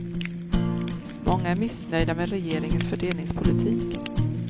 Många är missnöjda med regeringens fördelningspolitik.